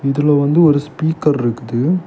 இதுல வந்து ஒரு ஸ்பீக்கர் ருக்குது.